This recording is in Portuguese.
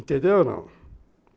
Entendeu ou não?